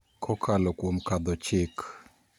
Kokalo kuom kadho chik